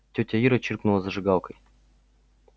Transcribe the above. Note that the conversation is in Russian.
тётя ира чиркнула зажигалкой